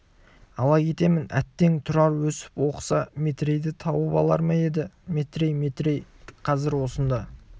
ала кетемін әттең тұрар өсіп оқыса метрейді тауып алар ма еді ай метрей метрей қазір осында